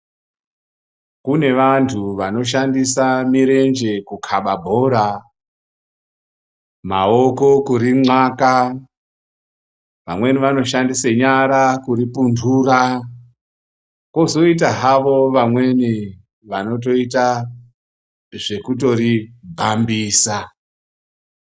Kune vantu vanoshandisa mirenje kukaba bhora, maoko kurimwaka, vamweni vanoshandise nyara kuripuntura, kozoita hawo vamweni vanotoita zvekutori bhambisa.